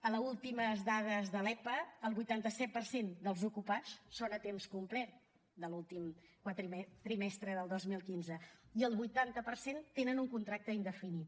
a les últimes dades de l’epa el vuitanta set per cent dels ocupats són a temps complet de l’últim trimestre del dos mil quinze i el vuitanta per cent tenen un contracte indefinit